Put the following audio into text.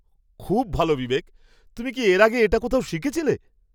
খুব ভালো বিবেক! তুমি কি এর আগে এটা কোথাও শিখেছিলে?